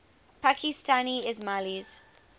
pakistani ismailis